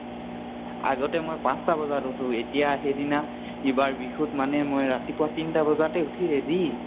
আগতে মই পাঁছ্টা বজাত উঠু, এতিয়া সেইদিনা ইবাৰ বিহুত মানে মই ৰাতিপুৱা তিনটা বজাতে উঠি ready